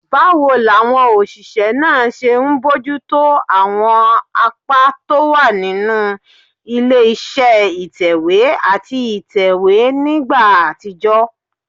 Báwo làwọn òṣìṣẹ́ náà ṣe ń bójú tó àwọn apá tó wà nínú ilé iṣẹ́ ìtẹ̀wé àti ìtẹ̀wé nígbà àtijọ́?